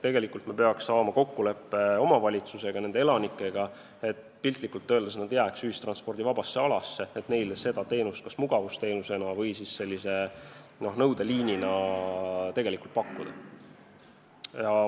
Tegelikult me peaksime saama kokkuleppe omavalitsuse ja selle elanikega, et nad jääks piltlikult öeldes ühistranspordivabasse alasse, kus me saame neile pakkuda teenust kas mugavusteenusena või siis sellise nõudeliinina.